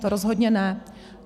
To rozhodně ne.